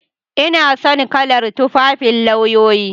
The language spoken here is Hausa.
Ina son kalar tufafin lauyoyi.